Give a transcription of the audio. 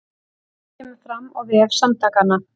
Þetta kemur fram á vef samtakanna